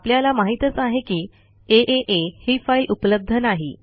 आपल्याला माहितच आहे की आ ही फाईल उपलब्ध नाही